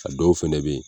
A dɔw fɛnɛ be yen